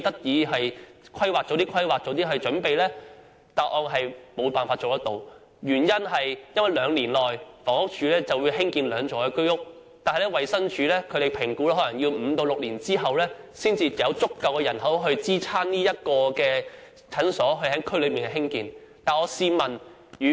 政府回答沒有辦法做到，原因是房屋署雖然會在兩年內興建兩座居屋，但衞生署評估可能要五六年後，才有足夠人口支持在區內興建診所。